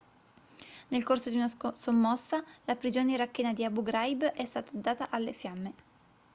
nel corso di una sommossa la prigione irachena di abu ghraib è stata data alle fiamme